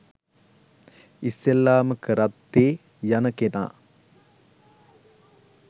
ඉස්සෙල්ලාම කරත්තේ යන කෙනා